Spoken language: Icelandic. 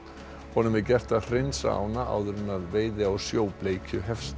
honum er gert að hreinsa ána áður en veiði á sjóbleikju hefst